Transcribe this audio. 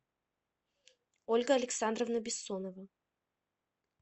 ольга александровна бессонова